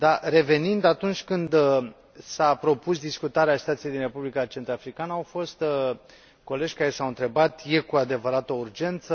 Revenind, atunci când s a propus discutarea situației din Republica Centrafricană au fost colegi care s au întrebat este cu adevărat o urgență?